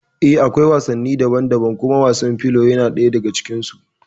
Eh da akwai wasanni daban daban kuma wasan filo yana ɗaya daga cikin su